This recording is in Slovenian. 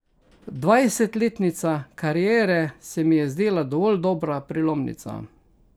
Dvajsetletnica kariere se mi je zdela dovolj dobra prelomnica.